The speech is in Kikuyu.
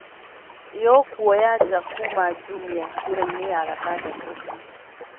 yo kuoya nja kuuma jumia njĩra-inĩ ya gatandatũ